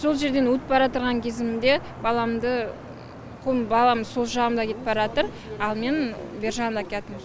сол жерден өтіп баратырған кезімде баламды балам сол жағымда кетіп баратыр ал мен бер жағында келатырм